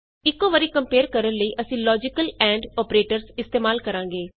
ਇਕੋ ਵਾਰੀ ਕੰਪੇਏਰ ਕਰਨ ਲਈ ਅਸੀਂ ਲੋਜੀਕਲ ਐਂਡ ਅੋਪਰੇਟਰਸ ਇਸਤੇਮਾਲ ਕਰਾਂਗੇ